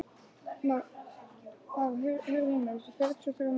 Már, heyrðu í mér eftir fjörutíu og þrjár mínútur.